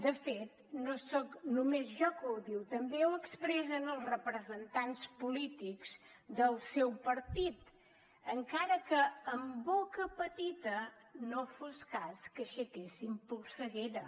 de fet no soc només jo que ho diu també ho expressen els representants polítics del seu partit encara que amb boca petita no fos cas que aixequessin polseguera